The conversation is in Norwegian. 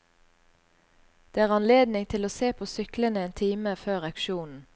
Det er anledning til å se på syklene en time før auksjonen.